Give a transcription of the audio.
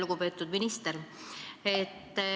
Lugupeetud minister!